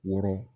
Wɔɔrɔ